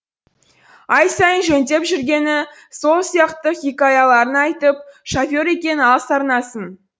ай сайын жөндеп жүргені сол сияқты хикаяларын айтып шофер екең ал сарнасын